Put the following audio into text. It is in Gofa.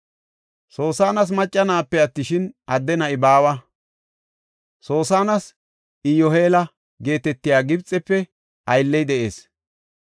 Soosanas macca na7ape attishin, adde na7i baawa. Soosanas Iyoheela geetetiya Gibxefe aylley de7ees.